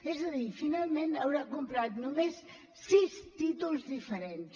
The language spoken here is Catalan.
és a dir finalment haurà comprat només sis títols diferents